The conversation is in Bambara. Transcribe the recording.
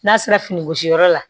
N'a sera fini gosiyɔrɔ la